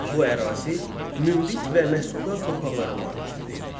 Bu ərazı münbit və məhsuldar torpaqlara malik idi.